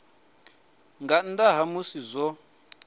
nga nnḓa ha musi zwo